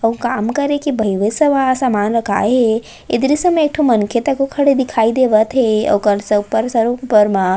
अउ काम करे के बहिवे सवा सामान राखए हे ए दृश्य मे एक ठो मनखे तको खड़े दिखाई देवत हे अउ ओकर स ऊपर सर ऊपर म --